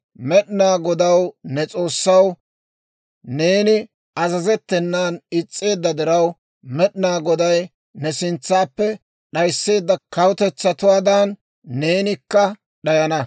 Med'inaa Godaw, ne S'oossaw, neeni azazettenan is's'eedda diraw, Med'inaa Goday ne sintsaappe d'ayiseedda kawutetsaatuwaadan neenikka d'ayana.